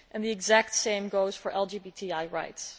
The exact same goes for LGBTI rights.